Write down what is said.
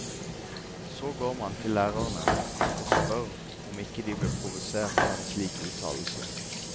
Så går man til lærerne og spør om ikke de blir provosert av en slik uttalelse.